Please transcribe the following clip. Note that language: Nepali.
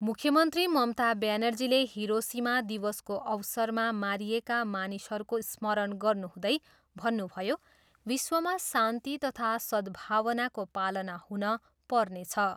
मुख्यमन्त्री ममता ब्यानर्जीले हिरोसिमा दिवसको अवसरमा मारिएका मानिसहरूको स्मरण गर्नुहुँदै भन्नुभयो, विश्वमा शान्ति तथा सद्भावनाको पालना हुन पर्नेछ।